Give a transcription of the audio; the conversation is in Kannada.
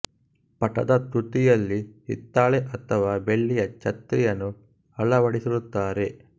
ಪಟದ ತುದಿಯಲ್ಲಿ ಹಿತ್ತಾಳೆ ಅಥವಾ ಬೆಳ್ಳಿಯ ಛತ್ರಿಯನ್ನು ಅಳವಡಿಸಿ ರುತ್ತಾರೆ